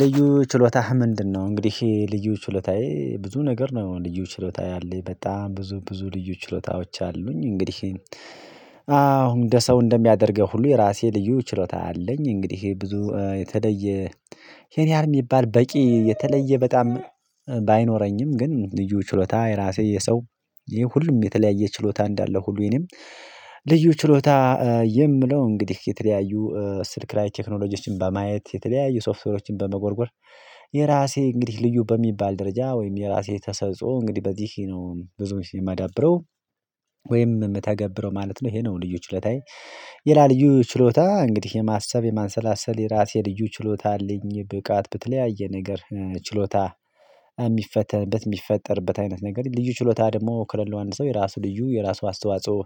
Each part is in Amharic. ልዩ ችሎታህ ምንድነው? እንግዲህ ልዩ ችሎታዬ ብዙ ነገር ነው ልዩ ችሎታ ያለኝ በጣም ብዙ ብዙ ልዩ ችሎታዎች አሉኝ እንግዲህ። አሁን እንደ ሰው እንደሚያደርገው ሁሉ የራሴ ልዩ ችሎታ አለኝ። እንግዲህ ይሄ ብዙ የተለየ እሄን ያህል የሚባል በቂ የተለየ በጣም ባይኖረኝም ግን ልዩ ችሎታ የራሴ የሰው ይሄ ሁሉም የተለያየ ችሎታ እንዳለው ሁሉ የኔም ልዩ ችሎታ የምለው እንግዲህ የተለያዩ ስልክ ላይ ቴክኖሎጂዎችን በማየት የተለያዩ ሶፍትዌሮችን በመጎርጎር። የራሴ እንግዲህ ልዩ በሚባል ደረጃ ወይም የራሴ ተሰጥኦ እንግዲህ በዚህ ነው ብዙውን ጊዜ የማዳብረው ወይም የምተገብረው ማለት ነው። ይሄ ነው ልዩ ችሎታዬ። ልላ ልዩ ችሎታ እንግዲህ የማሰብ የማሰላሰል የራሴ ልዩ ችሎታ አለኝ ብቃት በተለያየ ነገር ችሎታ የሚፈተንበት የሚፈጠርበት አይነት ነገር ልዩ ችሎታ ደግሞ ከሌለው አንድ ሰው የራሱ ልዩ የራሱ አስተዋጽኦ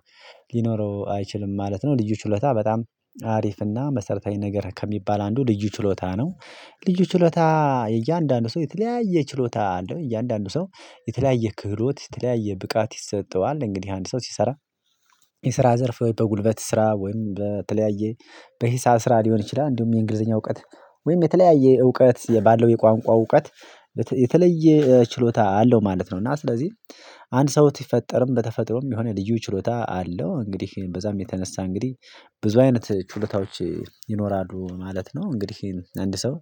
ሊኖረው አይችልም ማለት ነው። ልዩ ችሎታ በጣም አሪፍ እና መሰረታዊ ነገር ከሚባል አንዱ ልዩ ችሎታ ነው። ልዩ ችሎታ እያንዳንዱ ሰው የተለያየ ችሎታ አለው እያንዳንዱ ሰው የተለያየ ክህሎት የተለያየ ብቃት ይሰጠዋል እንግዲህ አንድ ሰው ሲሰራ። የስራ ዘርፍ በጉልበት ስራ ወይም በተለያየ በሂሳብ ስራ ሊሆን ይችላል። እንዲሁም የእንግሊዘኛ እውቀት ወይም የተለያየ እውቀት ባለው የቋንቋ እውቀት የተለየ ችሎታ አለው ማለት ነው። እና ስለዚህ አንድ ሰው ሲፈጠርም በተፈጥሮም የሆነ ልዩ ችሎታ አለው። እንግዲህ በዛም የተነሳ እንግዲህ ብዙ አይነት ችሎታዎች ይኖራሉ ማለት ነው። እንግዲህ አንድ ሰው